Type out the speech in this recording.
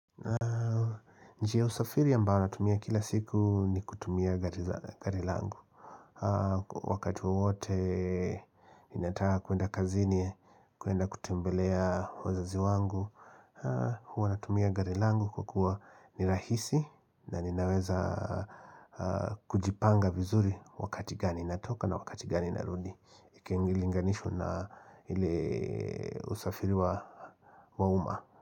Njia ya usafiri ambayo natumia kila siku ni kutumia gari langu. Wakati wowote, ninataka kuenda kazini, kuenda kutembelea wazazi wangu. Huwa natumia gari langu kwa kuwa ni rahisi na ninaweza kujipanga vizuri wakati gani natoka na wakati gani narudi. Ikingilinganishwa na ile usafiri wa mauma.